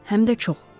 Həm də çox.